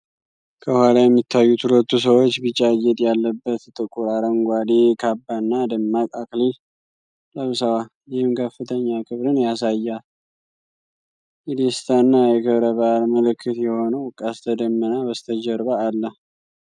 ከኋላ የሚታዩት ሁለቱ ሰዎች፣ ቢጫ ጌጥ ያለበት ጥቁር አረንጓዴ ካባና ደማቅ አክሊል ለብሰዋል፤ ይህም ከፍተኛ ክብርን ያሳያል። የደስታና የክብረ በዓል ምልክት የሆነው ቀስተ ደመና በስተጀርባ አለ።